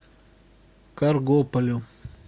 каргополю